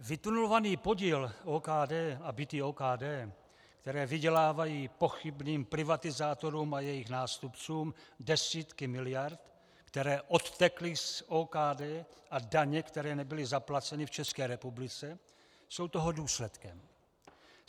Vytunelovaný podíl OKD a byty OKD, které vydělávají pochybným privatizátorům a jejich nástupcům desítky miliard, které odtekly z OKD, a daně, které nebyly zaplaceny v České republice, jsou toho důsledkem.